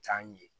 Jaa in ye